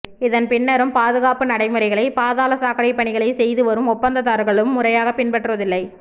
இதன் பின்னரும் பாதுகாப்பு நடைமுறைகளை பாதாள சாக்கடை பணிகளை செய்து வரும் ஒப்பந்ததாரர்கள் முறையாக பின்பற்றுவதில்லை